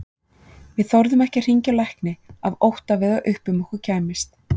Við þorðum ekki að hringja á lækni af ótta við að upp um okkur kæmist.